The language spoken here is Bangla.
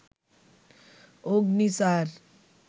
অগ্নি ৪